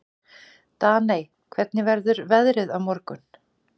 Daney, hvernig verður veðrið á morgun?